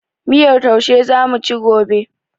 Miyar taushe zamuci gobe